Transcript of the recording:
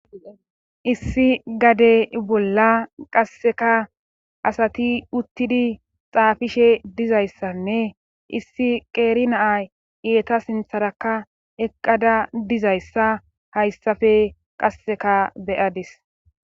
issi gade bolla qasseka asati uttidi xaafishe dizayssanne issi qeeri naa eeta sintharakka eqqada dizayssa hayssafe qasseka beyadis